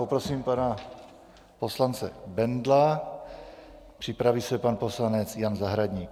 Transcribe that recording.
Poprosím pana poslance Bendla, připraví se pan poslanec Jan Zahradník.